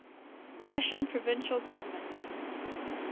russian provisional government